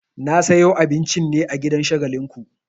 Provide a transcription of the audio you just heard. Na sayo abincin ne a gidan Shagalinku.